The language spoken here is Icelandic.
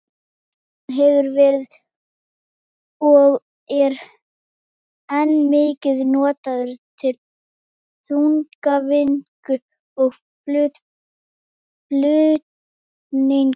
Asíufíllinn hefur verið og er enn mikið notaður til þungavinnu og flutninga.